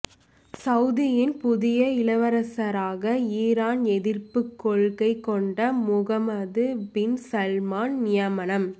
சவுதியின் புதிய இளவரசராக ஈரான் எதிர்ப்புக் கொள்கை கொண்ட முகமது பின் சல்மான் நியமனம்